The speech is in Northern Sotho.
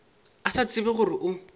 a se tsebe gore o